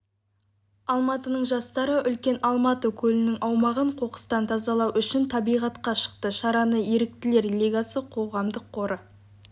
алматының жастары үлкен алматы көлінің аумағын қоқыстан тазалау үшін табиғатқа шықты шараны еріктілер лигасы қоғамдық қоры